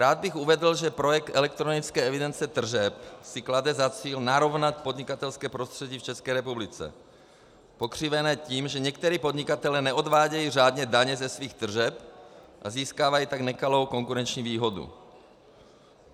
Rád bych uvedl, že projekt elektronické evidence tržeb si klade za cíl narovnat podnikatelské prostředí v České republice, pokřivené tím, že někteří podnikatelé neodvádějí řádně daně ze svých tržeb a získávají tak nekalou konkurenční výhodu.